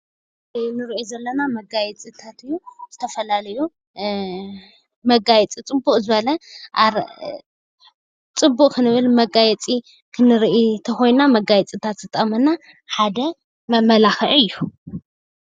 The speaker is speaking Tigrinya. እዚ እንሪኦ ዘለና መጋየፅታት እዩ፡፡ ዝተፈላለዩ መጋየፂ ፅብቕ ክንብል መጋየፂ ክንርኢ እንተኾይንና መጋየፅታት ዝጠቕመና ሓደ መመላኽዒ እዩ፡፡